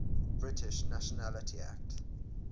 british nationality act